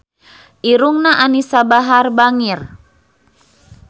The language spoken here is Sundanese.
Irungna Anisa Bahar bangir